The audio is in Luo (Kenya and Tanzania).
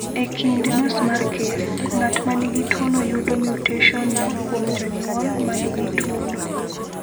E kind nus mar kes, ng’at ma nigi tuwono yudo mutationno kuom jonyuol ma nigi tuwono.